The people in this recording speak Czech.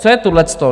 Co je tohleto?